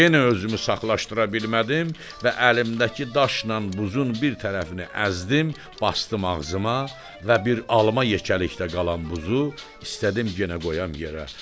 Yenə özümü saxlaşdıra bilmədim və əlimdəki daşnan buzun bir tərəfini əzdim, basdım ağzıma və bir alma yekəlikdə qalan buzu istədim yenə qoyam yerə.